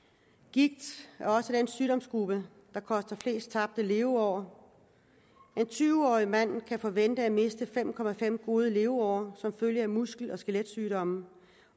gigt er også den sygdomsgruppe der koster flest tabte leveår en tyve årig mand kan forvente at miste fem gode leveår som følge af muskel og skeletsygdomme